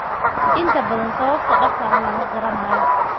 Inta badan, sababta dhabta ah lama garanayo.